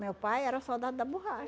Meu pai era soldado da